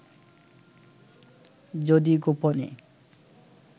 যদি গোপনে